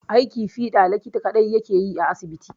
Aiki fiɗa likita kaɗai yake yi a asibiti